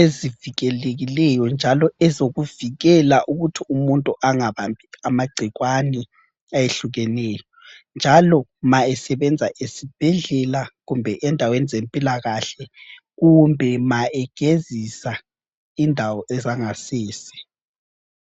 ezivikelekileyo njalo ezokuvikela ukuthi umuntu angabambi amagcikwane ayehlukeneyo, njalo ma esebenza esibhedlela kumbe endaweni zempilakahle kumbe ma egezisa indawo ezangasese.